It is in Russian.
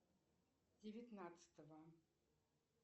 девятнадцатого